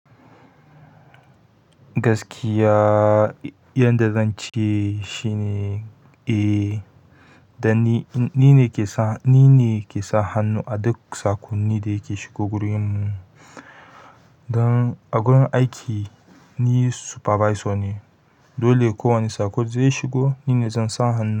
Gaskiya, yadda zan ce shine, eh, dan ni, ni ne ke sa, ni ne ke sa hannu a duk saƙonni da ke shigo gurinmu. Don a gurin aiki ni supervisor ne, dole kowane saƙo zai shigo nine zan sa hannu.